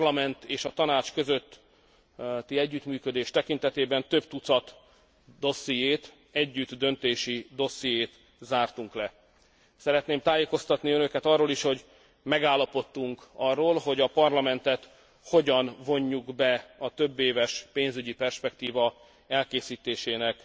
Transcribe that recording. A Parlament és a Tanács közötti együttműködés tekintetében több tucat dossziét, együttdöntési dossziét zártunk le. Szeretném tájékoztatni önöket arról is, hogy megállapodtunk arról, hogy a Parlamentet hogyan vonjuk be a többéves pénzügyi perspektíva elkészítésének